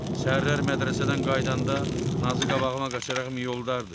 Səhərlər mədrəsədən qayıdanda Nazı qabağıma qaçaraq mi yoldardı.